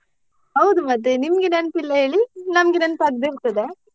ಹೌದು ಮತ್ತೆ ನಿಮ್ಗೆ ನೆನಪಿಲ್ಲ ಹೇಳಿ ನಮ್ಗೆ ನೆನ್ಪ್ ಆಗ್ದೇ ಇರ್ತದಾ?